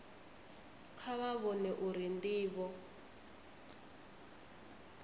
kha vha vhone uri ndivho